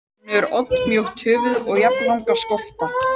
Hún hefur oddmjótt höfuð og jafnlanga skolta.